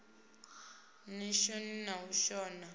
ni shoni na u shona